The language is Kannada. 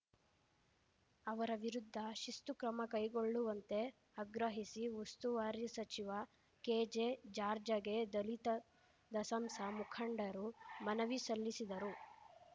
ಅವರ ವಿರುದ್ಧ ಶಿಸ್ತು ಕ್ರಮ ಕೈಗೊಳ್ಳುವಂತೆ ಅಗ್ರಹಿಸಿ ಉಸ್ತುವಾರಿ ಸಚಿವ ಕೆಜೆ ಜಾರ್ಜಗೆ ದಲಿತ ದಸಂಸ ಮುಖಂಡರು ಮನವಿ ಸಲ್ಲಿಸಿದರು